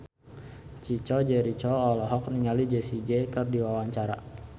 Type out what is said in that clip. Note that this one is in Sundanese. Chico Jericho olohok ningali Jessie J keur diwawancara